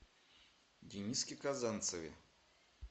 дениске казанцеве